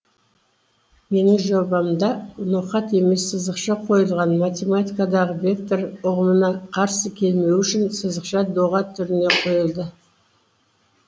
менің жобамда ноқат емес сызықша қойылған математикадағы вектор ұғымына қарсы келмеуі үшін сызықша доға түрінде қойылды